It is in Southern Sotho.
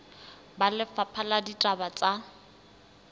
ba lefapha la ditaba tsa